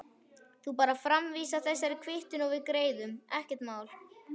Þú bara framvísar þessari kvittun og við greiðum, ekkert mál.